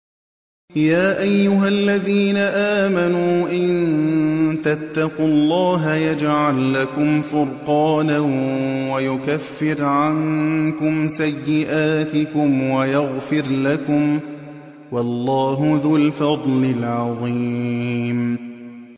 يَا أَيُّهَا الَّذِينَ آمَنُوا إِن تَتَّقُوا اللَّهَ يَجْعَل لَّكُمْ فُرْقَانًا وَيُكَفِّرْ عَنكُمْ سَيِّئَاتِكُمْ وَيَغْفِرْ لَكُمْ ۗ وَاللَّهُ ذُو الْفَضْلِ الْعَظِيمِ